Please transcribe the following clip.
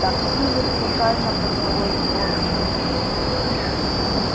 такси вертикально поднялось в воздухе